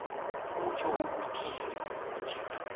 kutjho ukuthini ukuthi